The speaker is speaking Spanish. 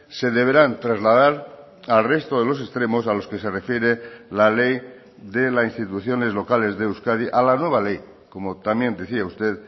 se deberán trasladar al resto de los extremos a los que se refiere la ley de la instituciones locales de euskadi a la nueva ley como también decía usted